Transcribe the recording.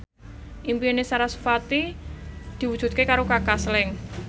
impine sarasvati diwujudke karo Kaka Slank